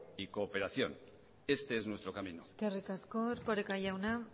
y cooperación este es nuestro camino eskerrik asko erkoreka jauna